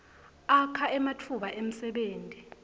akha ematfuba emsebenti